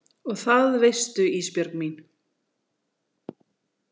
Og það veistu Ísbjörg mín.